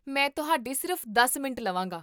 ਮੈਂ ਤੁਹਾਡੇ ਸਿਰਫ਼ ਦਸ ਮਿੰਟ ਲਵਾਂਗਾ